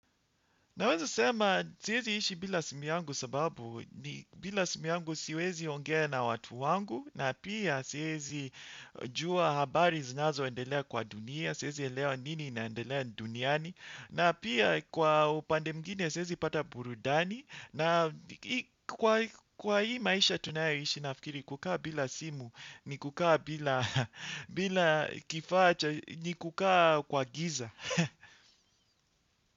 Naweza sema siwezi ishi bila simu yangu sababu ni bila simu yangu siwezi ongea na watu wangu na pia siwezi jua habari zinazo endelea kwa dunia, siwezi elewa nini inaendelea duniani na pia kwa upande mwngine siwezi pata burudani na kwa hii maisha tunayo ishi nafikiri kukaa bila simu ni kukaa bila kifaa cha ni kukaa kwa giza.